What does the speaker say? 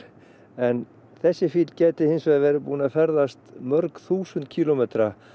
en þessi fýll gæti hinsvegar verið búinn að ferðast mörg þúsund kílómetra